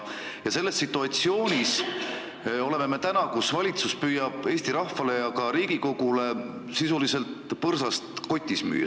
Me oleme täna situatsioonis, kus valitsus püüab Eesti rahvale ja ka Riigikogule sisuliselt põrsast kotis müüa.